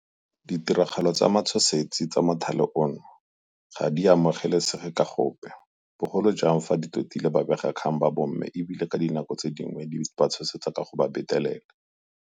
Ditiragalo tsa matshosetsi tsa mothale ono ga di amogelesege ka gope, bogolo jang fa di totile babegakgang ba bomme e bile ka dinako dingwe di ba tshosetsa ka go ba betelela.